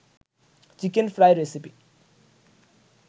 chicken fry recipe